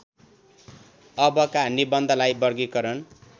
अबका निबन्धलाई वर्गीकरण